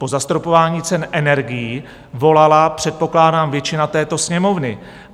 Po zastropování cen energií volala předpokládám většina této Sněmovny.